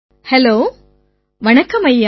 hello வணக்கம் ஐயா